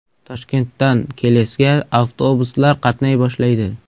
Toshkentdan Kelesga avtobuslar qatnay boshlaydi.